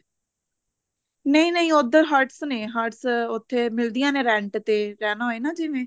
ਨਹੀ ਨਹੀਂ ਉੱਧਰ huts ਨੇ huts ਉੱਥੇ ਮਿਲਦੀਆ ਨੇ rent ਤੇ ਰਹਿਣਾ ਹੋਵੇ ਨਾ ਜਿਵੇਂ